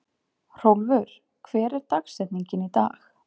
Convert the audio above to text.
Hrólfur, hver er dagsetningin í dag?